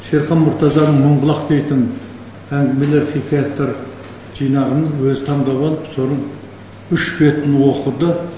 шерхан мұртазаның мыңбұлақ бетін әңгімелер хикаяттар жинағын өзі таңдап алып соның үш бетін оқыды